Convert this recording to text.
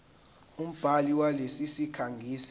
umbhali walesi sikhangisi